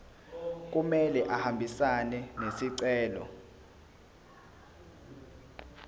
kumele ahambisane nesicelo